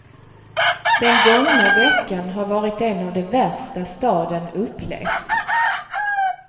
Den gångna veckan har varit en av de värsta staden upplevt.